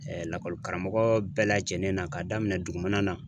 lakɔli karamɔgɔ bɛɛ lajɛnen na k'a daminɛ dugumana na.